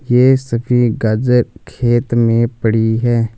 ये सभी गाजर खेत में पड़ी है।